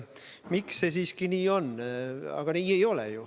Miks see siiski nii on?